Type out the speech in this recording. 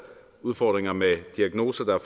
udfordringer med diagnoser der